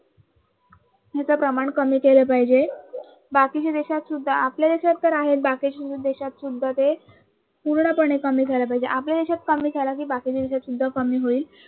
ते प्रमाण कमी केलं पाहिजे. बाकीच्या देशात सुद्धा आपल्या देशात तर आहेच बाकीच्या देशात सुद्धा ते पूर्णपणे कमी झाल पाहिजे, आपल्या देशात कमी झाल कि बाकीच्या देशात सुद्धा कमी होईल.